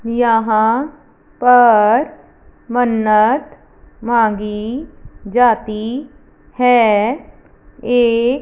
यहां पर मन्नत मांगी जाती है एक--